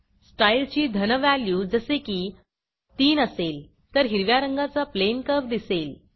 स्टाईलची धन व्हॅल्यू जसे की 3 असेल तर हिरव्या रंगाचा प्लेन कर्व्ह दिसेल